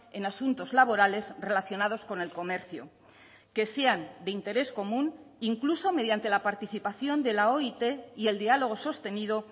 en asuntos laborales relacionados con el comercio que sean de interés común incluso mediante la participación de la oit y el diálogo sostenido